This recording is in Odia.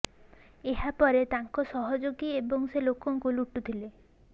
ଏହା ପରେ ତାଙ୍କ ସହଯୋଗୀ ଏବଂ ସେ ଲୋକଙ୍କୁ ଲୁଟୁଥିଲେ